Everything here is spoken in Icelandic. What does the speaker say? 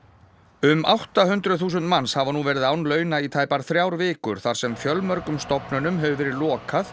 um átta hundruð þúsund manns hafa nú verið án launa í tæpar þrjár vikur þar sem fjölmörgum stofnunum hefur verið lokað